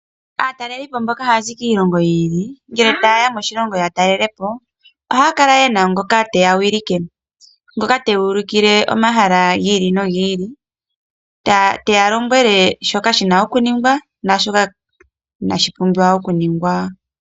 Aatalelipo mboka haya zi kiilongo yi ili ngele taye ya moshilongo ya talele po, ohaya kala yena ngoka teya wilike. Ngoka teya ulikile omahala gi ili nogi ili, teya lombwele shoka shina okuningwa naashoka inashi pumbwa okuningwa.